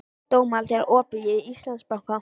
Dómald, er opið í Íslandsbanka?